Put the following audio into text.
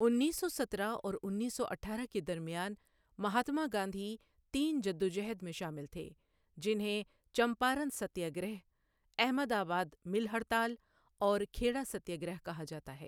انیس سو سترہ اور انیس سو اٹھارہ کے درمیان، مہاتما گاندھی تین جدوجہد میں شامل تھے، جنہیں Champaran satyagraha, Ahmedabad mill ہڑتال، اور کھیڑا ستیہ گرہ کہا جاتا ہے۔